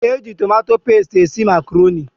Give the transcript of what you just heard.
Eji tomato pestie esị macroni.